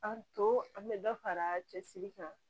An to an bɛ dɔ fara cɛsiri kan